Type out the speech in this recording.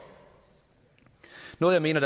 noget jeg mener